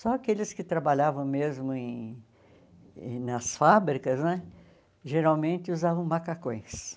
Só aqueles que trabalhavam mesmo em nas fábricas né, geralmente usavam macacões.